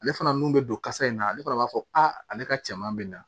Ale fana n'u bɛ don kasa in na ale fana b'a fɔ ale ka cɛman bɛ na